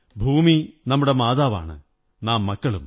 ഭൂമി നമ്മുടെ മാതാവാണ് നാം മക്കളും